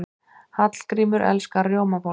Hallgrímur elskar rjómabollur.